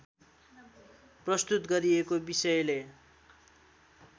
प्रस्तुत गरिएको विषयले